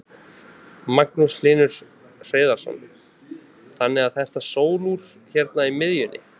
Magnús Hlynur Hreiðarsson: Þannig að þetta sólúr hérna í miðjunni?